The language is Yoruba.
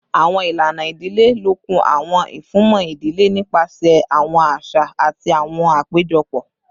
Awọn ilana idile lokun awọn ifunmọ idile nipasẹ awọn aṣa ati awọn apejọpọ